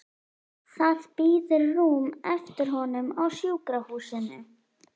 Það bíður rúm eftir honum á sjúkrahúsinu.